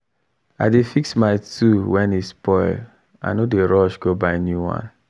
i dey fix my tool when e spoil i no dey rush go buy new one